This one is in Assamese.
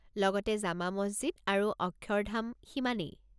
লগতে জামা মছজিদ আৰু অক্ষৰধাম, সিমানেই।